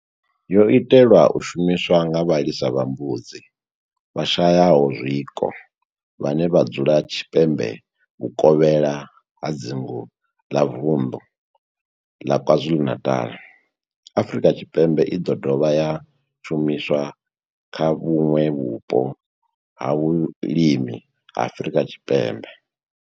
yo itelwa u shumiswa nga vhalisa vha mbudzi vhashayaho zwiko vhane vha dzula tshipembe vhuvokhela ha dzingu ḽa Vundu ḽa KwaZulu-Natal, Afrika Tshipembe i do dovha ya shumiswa kha vhuṋwe vhupo ha vhulimi ha Afrika Tshipembe.